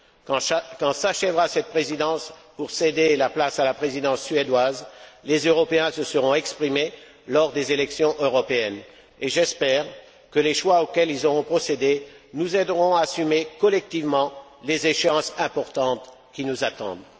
Quand s'achèvera cette présidence pour céder la place à la présidence suédoise, les Européens se seront exprimés lors des élections européennes, et j'espère que les choix auxquels ils auront procédé nous aideront à assumer collectivement les échéances importantes qui nous attendent.